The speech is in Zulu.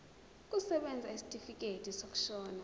kusebenza isitifikedi sokushona